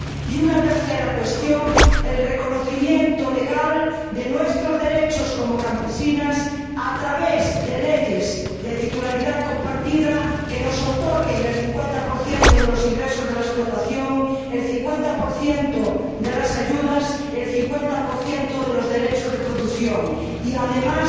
Y una tercera cuestión el reconocimiento legal de nuestros derechos como campesinas a través de leyes de titularidad compartida que nos otorguen el 50 de los ingresos de la explotación, el 50 de las ayudas, el 50 de los derechos de producción, y que, además,